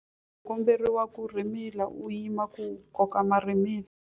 U komberiwa ku rhimila u yima ku koka marhimila.